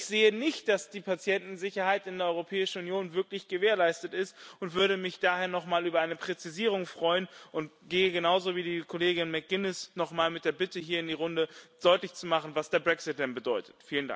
Ich sehe nicht, dass die Patientensicherheit in der Europäischen Union wirklich gewährleistet ist, und würde mich daher noch mal über eine Präzisierung freuen und gehe, genauso wie die Kollegin McGuinness, noch mal mit der Bitte hier in die Runde, deutlich zu machen, was der Brexit bedeutet.